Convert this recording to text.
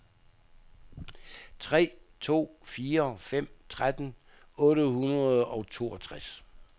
tre to fire fem tretten otte hundrede og toogtres